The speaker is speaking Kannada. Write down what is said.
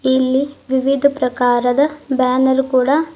ಇಲ್ಲಿ ವಿವಿಧ ಪ್ರಕಾರದ ಬ್ಯಾನರ್ ಕೂಡ--